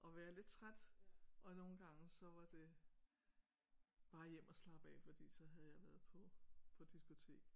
Og være lidt træt og nogle gange så var det bare hjem og slappe af fordi så havde jeg været på på diskotek